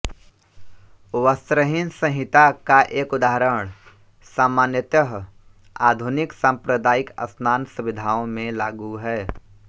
वस्त्रहीन संहिता का एक उदाहरण सामान्यतः आधुनिक सांप्रदायिक स्नान सुविधाओं में लागू है